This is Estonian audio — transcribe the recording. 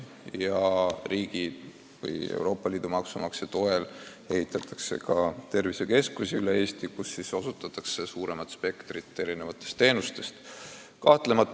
Meie oma riigi või Euroopa Liidu maksumaksja toel ehitatakse üle Eesti tervisekeskusi, kus osutatavate teenuste spekter on laiem.